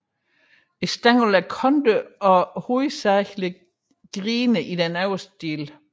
Stænglen er kantet og hovedsagelig grenet i den øvre del